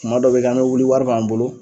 Kuma dɔ bɛ kɛ an mɛ wuli wari b'an bolo.